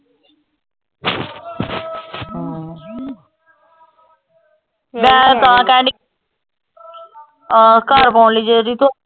ਹਾਂ ਮੈਂ ਤਾਂ ਕਹਿਣ ਡਈ ਅਹ ਘਰ ਪਾਉਣ ਲਈ .